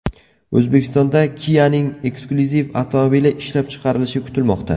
O‘zbekistonda Kia’ning eksklyuziv avtomobili ishlab chiqarilishi kutilmoqda.